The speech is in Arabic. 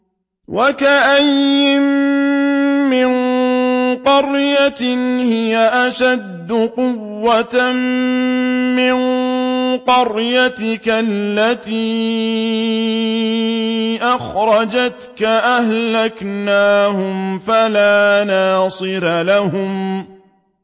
وَكَأَيِّن مِّن قَرْيَةٍ هِيَ أَشَدُّ قُوَّةً مِّن قَرْيَتِكَ الَّتِي أَخْرَجَتْكَ أَهْلَكْنَاهُمْ فَلَا نَاصِرَ لَهُمْ